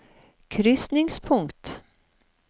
krysningspunkt